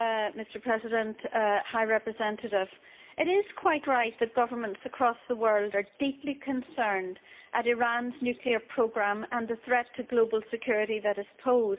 Mr President, it is quite right that governments across the world are deeply concerned at Iran's nuclear programme and the threat to global security that is posed.